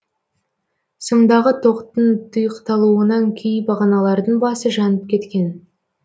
сымдағы тоқтың тұйықталуынан кей бағаналардың басы жанып кеткен